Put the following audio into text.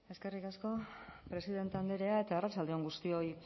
eskerrik asko presidente andrea eta arratsalde on guztioi